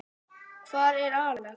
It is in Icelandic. Hvar er Axel?